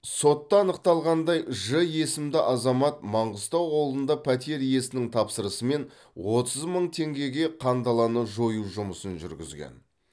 сотта анықталғандай ж есімді азамат маңғыстау ауылында пәтер иесінің тапсырысымен отыз мың теңгеге қандаланы жою жұмысын жүргізген